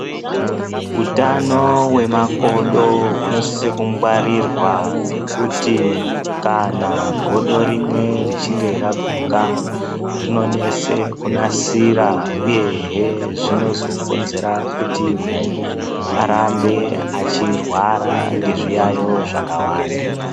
Utano hwemakodo hunosise kungwarirwa ngekuti kana godo rimwe richinge raguka rinonese kunasira. Uyehe zvinozokonzera kuti munhu arambe achirwara ngezviyayo zvakawanda.